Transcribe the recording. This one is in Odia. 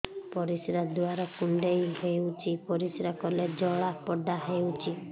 ପରିଶ୍ରା ଦ୍ୱାର କୁଣ୍ଡେଇ ହେଉଚି ପରିଶ୍ରା କଲେ ଜଳାପୋଡା ହେଉଛି